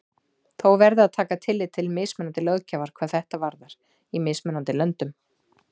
Þó verði að taka tillit til mismunandi löggjafar hvað þetta varðar í mismunandi löndum.